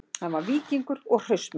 Hann var víkingur og hraustmenni